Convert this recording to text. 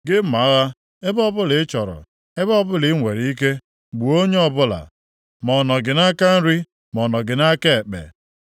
Gị mma agha, ebe ọbụla ị chọrọ, ebe ọbụla i nwere ike, gbuo onye ọbụla, ma ọ nọ gị nʼaka nri ma ọ nọ gị nʼaka ekpe.